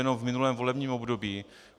Jenom v minulém volebním období.